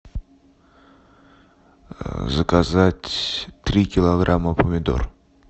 заказать три килограмма помидор